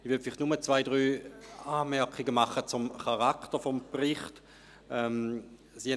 Ich bringe vielleicht nur zwei, drei Anmerkungen zum Charakter des Berichts an.